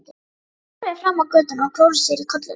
Hann horfði fram á götuna og klóraði sér í kollinum.